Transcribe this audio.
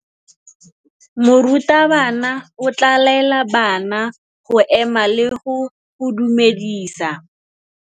Morutabana o tla laela bana go ema le go go dumedisa.